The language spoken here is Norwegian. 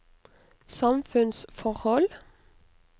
samfunnsforhold